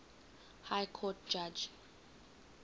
high court judge